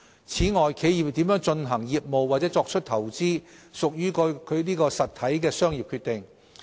此外，企業如何進行業務或作出投資，屬該實體的商業決定。